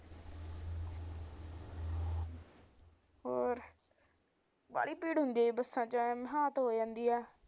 ਹੋਰ ਬਾਹਲੀ ਭੀੜ ਹੁੰਦੀ ਐ ਜੀ ਬਸਾਂ